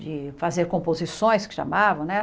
De fazer composições, que chamavam, né?